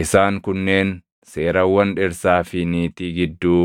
Isaan kunneen seerawwan dhirsaa fi niitii gidduu